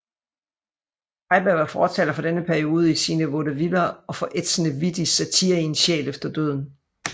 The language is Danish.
Heiberg var fortaler for denne periode i sine vaudeviller og for ætsende vittig satire i En Sjæl efter Døden